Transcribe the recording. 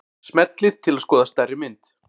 Smellið til að skoða stærri mynd.